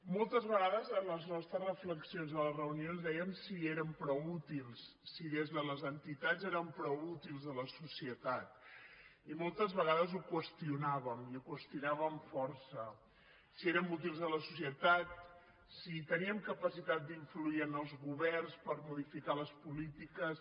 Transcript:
moltes vegades en les nostres reflexions a les reunions dèiem si érem prou útils si des de les entitats érem prou útils a la societat i moltes vegades ho qüestionàvem i ho qüestionàvem força si érem útils a la societat si teníem capacitat d’influir en els governs per modificar les polítiques